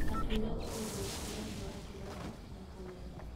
Akiuga nĩ ũndũ akoretwo akĩrora na kũwenda.